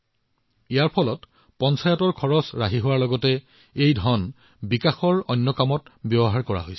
এইটোৱে কেৱল পঞ্চায়তৰ ধন ৰাহি কৰাই নহয় বৰঞ্চ ইয়াক অন্যান্য উন্নয়নৰ উদ্দেশ্যেও ব্যৱহাৰ কৰা হৈছে